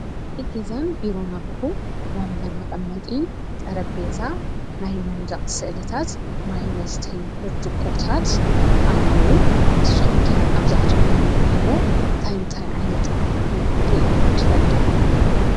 ናይ ገዛን ቢሮን ኣቑሑ ወንበር መቐመጢ፣ ጠረጴዛ፣ ናይ መንደቕ ስእልታት፣ ማይ መስተዪ ብርጭቆታት ኣለዉ፡፡ ንስኹም ከ ኣብ ዝኣተኽምዎ ቢሮ እንታይ እንታይ ዓይነት ኣቑሑ ርኢኹም ትፈልጡ?